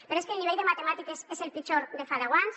però és que el nivell de matemàtiques és el pitjor de fa deu anys